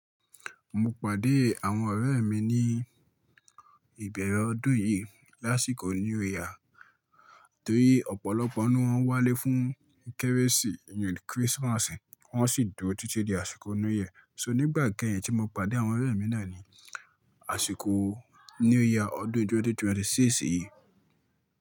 Mo pàdé àwọn ọ̀rẹ́ mi ní ìbẹ̀rẹ̀ ọdún yìí lásìkò new year tó rí ọ̀pọ̀lọpọ̀ ninu wọn wálé fún kérésì, Christmas wọ́n sì dúró títí di àsìkò new year. So nígbà kẹ́yìn tí mo pàdé àwọn ọ̀rẹ́ mi náà ní àsìkò new year ọdún 2026 yìí.